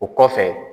O kɔfɛ